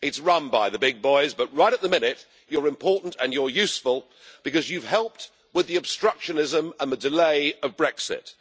It's run by the big boys, but right at the minute you are important and you're useful, because you have helped with the obstructionism and the delay of Brexit.